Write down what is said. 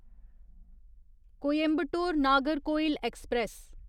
Coimbatore Nagercoil express